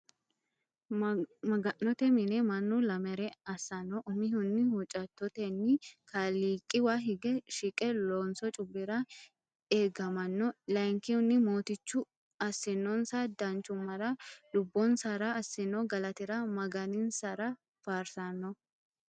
Maga'note mine mannu lamere assano umihunni huuccattoteni kaaliiqiwa hige shiqqe loonso cubbira eegamano layinkihunni Mootichu assinonsa danchumara lubbonsara assino galatira magansiranni faarsirano.